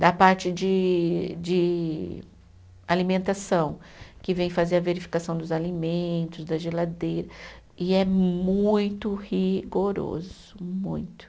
Da parte de de alimentação, que vem fazer a verificação dos alimentos, da geladeira, e é muito rigoroso, muito.